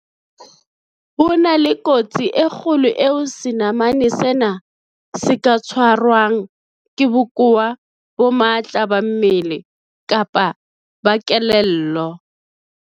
Ho na le kotsi e kgolo eo senamane sena se ka tshwarwang ke bokowa bo matla ba mmele kapa ba kelello.